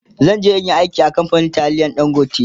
zanje in Yi aiki a kamfanin taliyan dangote